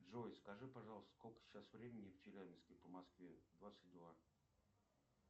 джой скажи пожалуйста сколько сейчас времени в челябинске по москве двадцать два